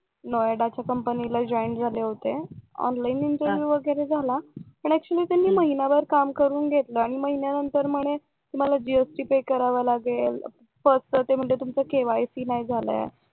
नोयडाच्या कंपनीला जॉइन झाले होते ऑनलाइन इंटरव्हिव्ह वगैरे झाला पण ऍक्च्युली त्यांनी महिनाभर काम करून घेतलं आणि महिन्यानंतर म्हणे तुम्हाला जीएसटी करावं लागेल फर्स्ट च तुमचं केवायसी नाही झालय